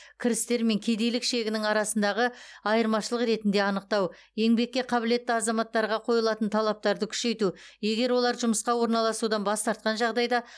кірістер мен кедейлік шегінің арасындағы айырмашылық ретінде анықтау еңбекке қабілетті азаматтарға қойылатын талаптарды күшейту егер олар жұмысқа орналасудан бас тартқан жағдайда